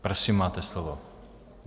Prosím, máte slovo.